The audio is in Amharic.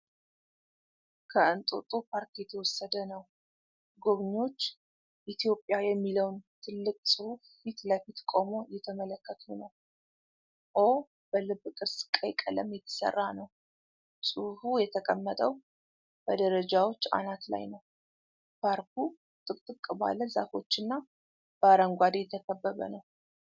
ከእንጦጦ ፓርክ የተወሰደ ነው። ጎብኚዎች "ኢትዮጵያ" የሚለውን ትልቅ ጽሑፍ ፊት ለፊት ቆመው እየተመለከቱ ነው። "ኦ" በልብ ቅርጽ ቀይ ቀለም የተሰራ ነው። ጽሑፉ የተቀመጠው በደረጃዎች አናት ላይ ነው። ፓርኩ ጥቅጥቅ ባለ ዛፎችና በአረንጓዴ የተከበበ ነው።